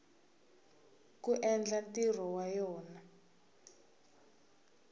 ku endla ntirho wa yona